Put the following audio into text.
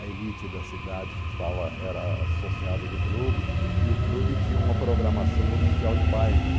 A elite da cidade estava, era associada ao clube e o clube tinha uma programação oficial de bailes.